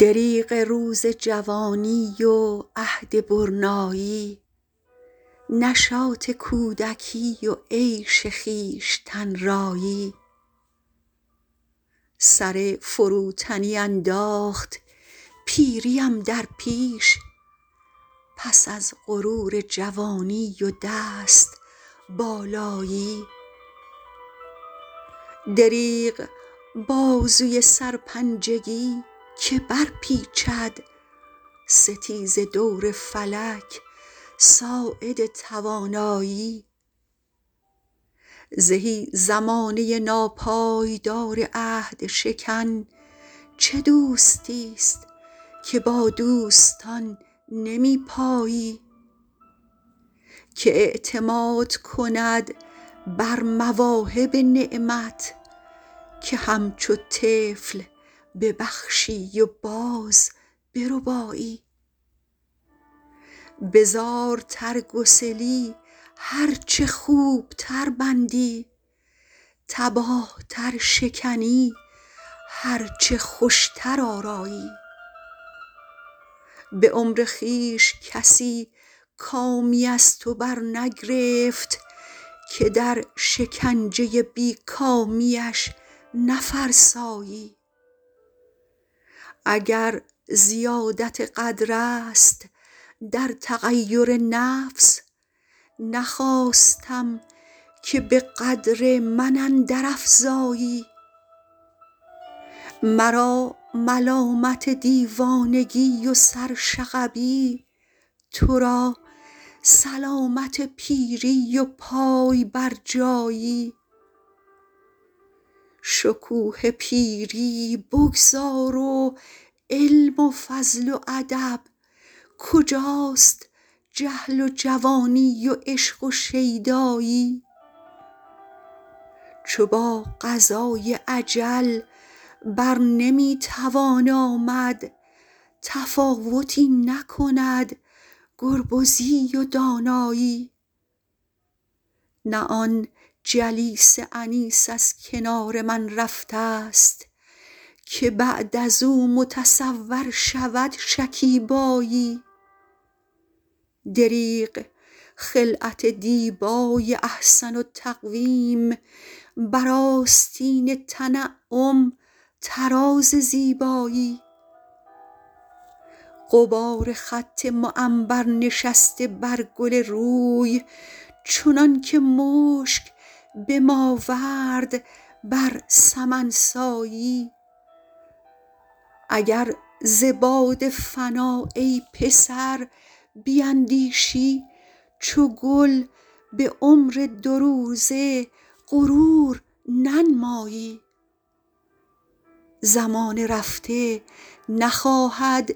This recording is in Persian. دریغ روز جوانی و عهد برنایی نشاط کودکی و عیش خویشتن رایی سر فروتنی انداخت پیریم در پیش پس از غرور جوانی و دست بالایی دریغ بازوی سرپنجگی که برپیچد ستیز دور فلک ساعد توانایی زهی زمانه ناپایدار عهد شکن چه دوستیست که با دوستان نمی پایی که اعتماد کند بر مواهب نعمت که همچو طفل ببخشی و باز بربایی به زارتر گسلی هر چه خوبتر بندی تباه تر شکنی هر چه خوشتر آرایی به عمر خویش کسی کامی از توبرنگرفت که در شکنجه بی کامیش نفرسایی اگر زیادت قدرست در تغیر نفس نخواستم که به قدر من اندر افزایی مرا ملامت دیوانگی و سرشغبی تو را سلامت پیری و پای برجایی شکوه پیری بگذار و علم و فضل و ادب کجاست جهل و جوانی و عشق و شیدایی چو با قضای اجل بر نمی توان آمد تفاوتی نکند گربزی و دانایی نه آن جلیس انیس از کنار من رفتست که بعد ازو متصور شود شکیبایی دریغ خلعت دیبای احسن التقویم بر آستین تنعم طراز زیبایی غبار خط معنبر نشسته بر گل روی چنانکه مشک به ماورد بر سمن سایی اگر ز باد فنا ای پسر بیندیشی چو گل به عمر دو روزه غرور ننمایی زمان رفته نخواهد